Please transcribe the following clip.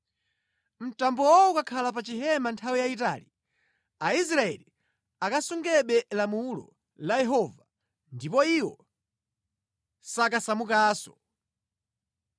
Mtambowo ukakhala pa chihema nthawi yayitali, Aisraeli ankasungabe lamulo la Yehova ndipo iwo sankasamukanso.